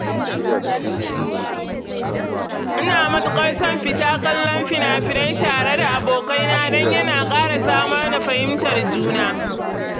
Ina matuƙar son fita kallon fina-finai tare da abokaina don yana ƙara samar da fahimtar juna